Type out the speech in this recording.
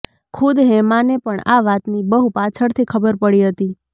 ખુદ હેમાને પણ આ વાતની બહુ પાછળથી ખબર પડી હતી